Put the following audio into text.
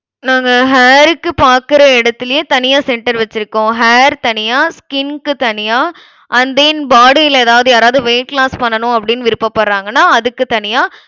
நாங்க hair க்கு பாக்குற இடத்துலயே தனியா center வச்சிருக்கோம். hair தனியா skin க்கு தனியா and then body ல ஏதாவது யாராவது weight loss பண்ணணும் அப்படினு விருப்பப்படறாங்கனா அதுக்கு தனியா